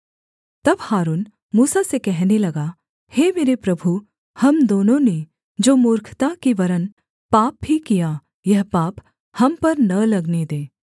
तब हारून मूसा से कहने लगा हे मेरे प्रभु हम दोनों ने जो मूर्खता की वरन् पाप भी किया यह पाप हम पर न लगने दे